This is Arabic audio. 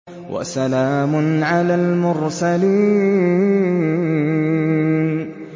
وَسَلَامٌ عَلَى الْمُرْسَلِينَ